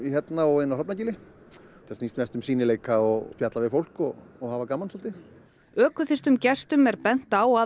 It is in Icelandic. inn á Hrafnagili þetta snýst mest um sýnileika og spjalla við fólk og og hafa gaman svolítið gestum er bent á að